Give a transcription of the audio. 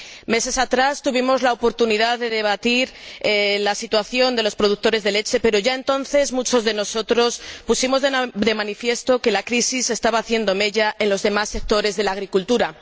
Meses atrás tuvimos la oportunidad de debatir la situación de los productores de leche, pero ya entonces muchos de nosotros pusimos de manifiesto que la crisis estaba haciendo mella en los demás sectores de la agricultura.